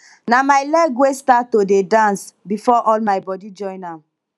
na my leg wey start to dey dance before all my body join am